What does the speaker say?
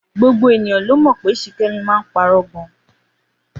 Gbogbo ènìyàn ló mọ̀ pé Ṣìkẹ́mi máa ń parọ́ gan